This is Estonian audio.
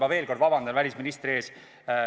Ma veel kord vabandan välisministri ees.